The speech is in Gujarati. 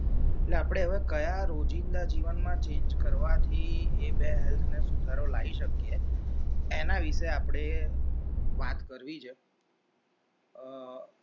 એટલે હવે આપડે કયા રોજિંદા જીવનમ change કરવાથી એ બે health ને સુધારો લાયી શકીએ એના વિશે આપણે વાત કરવી છે અર